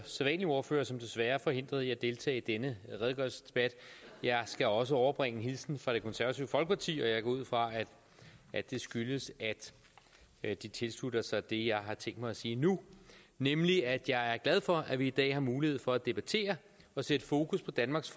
sædvanlige ordfører som desværre er forhindret i at deltage i denne redegørelsesdebat jeg skal også overbringe en hilsen fra det konservative folkeparti og jeg går ud fra at det skyldes at de tilslutter sig det jeg har tænkt mig at sige nu nemlig at jeg er glad for at vi i dag har mulighed for at debattere og sætte fokus på danmarks